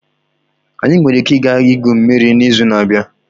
Anyị nwere ike ịga igwu mmiri n'izu na-abịa?